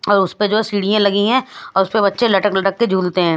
और उसपे जो सीढ़ियां लगी है उसपे बच्चे लटक लटक के झूलते है।